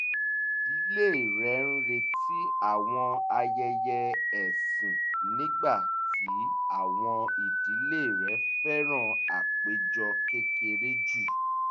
ìdílé rẹ̀ ń retí àwọn ayẹyẹ ẹ̀sìn nígbà tí àwọn ìdílé rẹ̀ fẹ́ràn àpéjọ kékeré jù